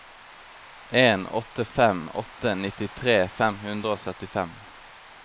en åtte fem åtte nittitre fem hundre og syttifem